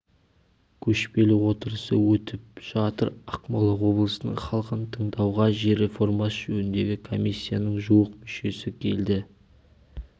көшпелі отырысы өтіп жатыр ақмола облысының халқын тыңдауға жер реформасы жөніндегі комиссияның жуық мүшесі келді